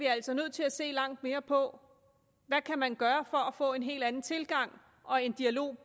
altså nødt til at se langt mere på hvad man kan gøre for at få en helt anden tilgang og en dialog